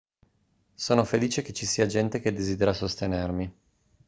sono felice che ci sia gente che desidera sostenermi